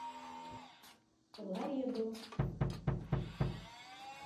ларедо